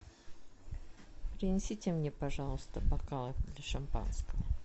принесите мне пожалуйста бокалы для шампанского